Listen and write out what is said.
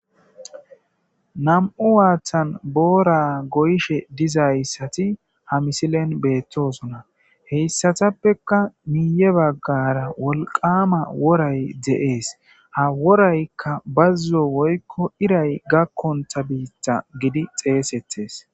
Nam'u waaththan boora goyishe dizayssati ha misilen beettosona heyssatappeka miiye baggara wolqama woray de'ees ha woraykka bazzo woykko iray gakkonta biitta gidi xeesettes